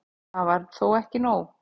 Það var þó ekki nóg.